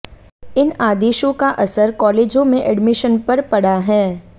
इन आदेशों का असर कालेजों में एडमिशन पर पड़ा है